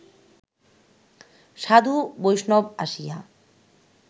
সাধু-বৈষ্ণব আসিয়া